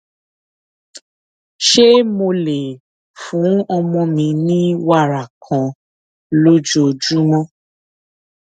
ṣé mo lè fún ọmọ mi ní wàrà kan lójoojúmó